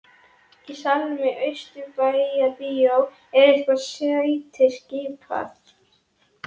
Í salnum í Austurbæjarbíói er hvert sæti skipað.